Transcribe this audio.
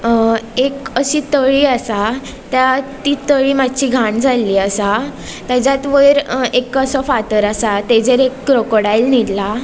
अ एक अशी तळी आसा त्या ती तळी मात्शी घाण जाल्ली आसा त्याज्यात वयर एक असो फातर आसा तेजेर एक क्राकोडायल निदला.